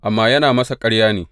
Amma yana masa ƙarya ne.